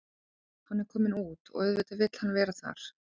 Hann er kominn út og auðvitað vill hann vera þar.